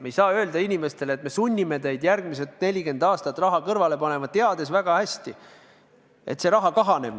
Me ei saa öelda inimestele, et me sunnime teid järgmised 40 aastat raha kõrvale panema, teades väga hästi, et see raha kahaneb.